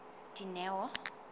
dineo